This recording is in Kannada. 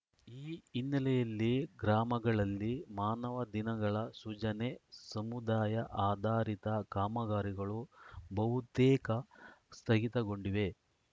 ಈ ಹಿನ್ನೆಲೆಯಲ್ಲಿ ಗ್ರಾಮಗಳಲ್ಲಿ ಮಾನವ ದಿನಗಳ ಸೃಜನೆ ಸಮುದಾಯ ಆಧಾರಿತ ಕಾಮಗಾರಿಗಳು ಬಹುತೇಕ ಸ್ಥಗಿತಗೊಂಡಿವೆ